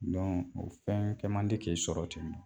o fɛn kɛ man di k'i sɔrɔ ten